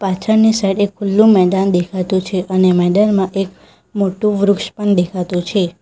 પાછળની સાઈડ એક ખુલ્લુ મેદાન દેખાતું છે અને મેદાનમાં એક મોટું વૃક્ષ પણ દેખાતું છે.